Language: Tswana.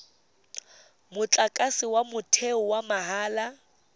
motlakase wa motheo wa mahala